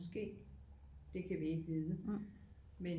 Måske det kan vi ikke vide men